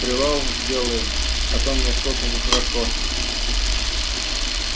привал сделаем а то мне что-то нехорошо